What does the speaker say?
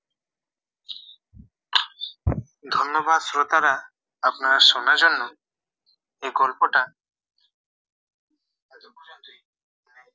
ধন্যবাদ শ্রোতারা আপনাদের শোনার জন্য এই গল্পটা